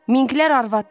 Minqlər arvaddır.